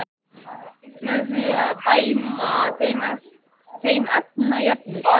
Með því að sýna þeim efnajöfnur?